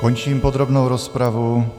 Končím podrobnou rozpravu.